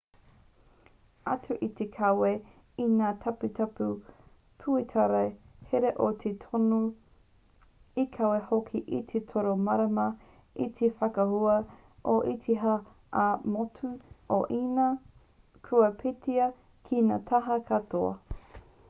atu i te kawe i ngā taputapu pūtaiao hira e toru i kawe hoki te toro marama i te whakaahua o te haki ā-motu o īnia kua peitatia ki ngā taha katoa